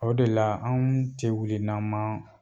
O de la anw tɛ wili n'an ma